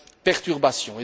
perturbations.